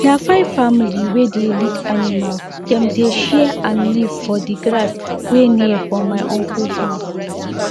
time to allow animal chop dey different for each type of animal so grass go reach everybody and wahala no go dey.